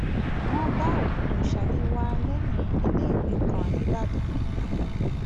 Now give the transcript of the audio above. wọn bá òkú salewa lẹyìn iléèwé kan ní badág